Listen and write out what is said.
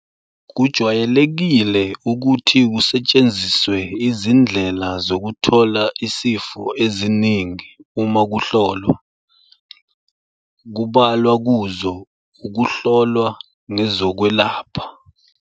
Kujwayelekile ukuthi kusetshenziswe izindlela zokuthola isifo eziningi uma kuhlolwa, kubalwa kuzo ukuhlolwa ngezokwelapha.